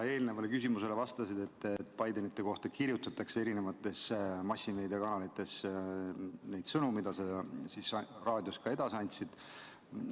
Sa eelnevale küsimusele vastasid, et Bidenite kohta kirjutatakse massimeediakanalites neid sõnu, mida sa raadios edasi andsid.